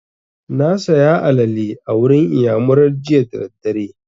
Na saya alale a wurin iyamurar jiya da daddare